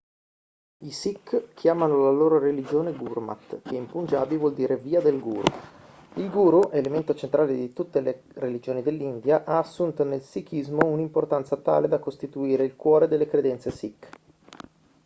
i sikh chiamano la loro religione gurmat che in punjabi vuol dire via del guru il guru elemento centrale in tutte le religioni dell'india ha assunto nel sikhismo un'importanza tale da costituire il cuore delle credenze sikh